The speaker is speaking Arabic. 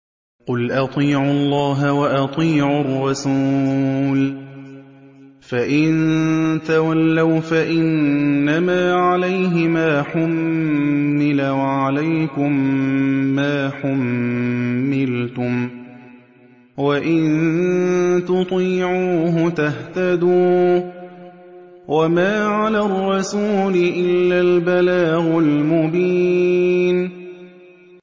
قُلْ أَطِيعُوا اللَّهَ وَأَطِيعُوا الرَّسُولَ ۖ فَإِن تَوَلَّوْا فَإِنَّمَا عَلَيْهِ مَا حُمِّلَ وَعَلَيْكُم مَّا حُمِّلْتُمْ ۖ وَإِن تُطِيعُوهُ تَهْتَدُوا ۚ وَمَا عَلَى الرَّسُولِ إِلَّا الْبَلَاغُ الْمُبِينُ